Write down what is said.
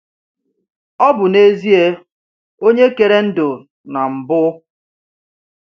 Ọ bụ n’ezie Onye kere ndụ n’mbu.